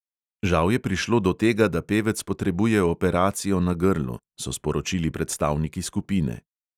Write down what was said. "Žal je prišlo do tega, da pevec potrebuje operacijo na grlu," so sporočili predstavniki skupine.